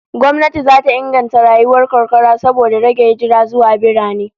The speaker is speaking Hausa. Gwamnati zata inganta rayuwar karkara saboda rage hijira zuwa birane